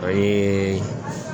O ye